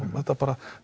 þetta